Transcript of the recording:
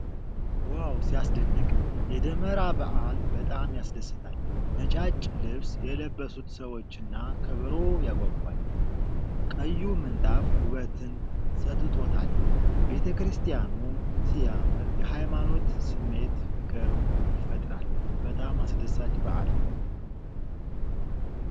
ዋው ሲያስደንቅ! የደመራ በዓል በጣም ያስደስታል። ነጫጭ ልብስ የለበሱት ሰዎችና ከበሮ ያጓጓል። ቀዩ ምንጣፍ ውበት ሰጥቶታል። ቤተክርስቲያኑ ሲያምር፣ የሃይማኖት ስሜት ፍቅር ይፈጥራል። በጣም አስደሳች በዓል።